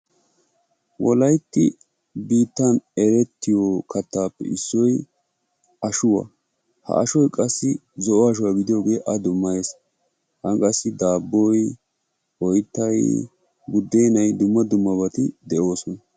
Wolaytti biittan erettiyo kattaappe issoyi ashuwa. Ha ashoy qassi zo"o asho gidiyooge a dummayes. Han qassi daabboy, oyttay, buddeenay dumma dummabati de"oosona.